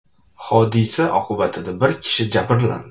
Hodisa oqibatida bir kishi jabrlandi.